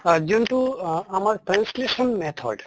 হয় অহ যোনটো আমাৰ translation method